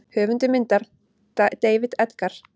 Höfundur myndar: David Edgar.